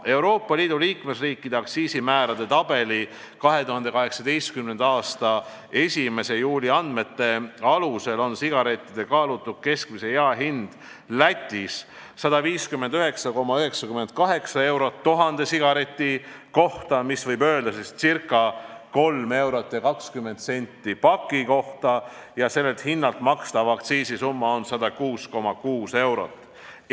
Euroopa Liidu liikmesriikide aktsiisimäärade tabeli 2018. aasta 1. juuli andmete alusel on sigarettide kaalutud keskmine jaehind Lätis 159,98 eurot 1000 sigareti kohta, võib öelda, et ca 3 eurot ja 20 senti paki kohta, ning sellelt hinnalt makstav aktsiis on 106,6 eurot.